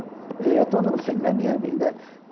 Eu estou no fim da minha vida.